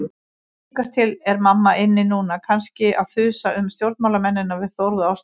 Líkast til er mamma inni núna, kannski að þusa um stjórnmálamennina við Þórð og Ástu.